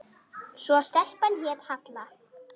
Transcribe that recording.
Svo stelpan hét Halla.